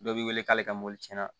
Dɔ b'i wele k'ale ka mobili tiɲɛna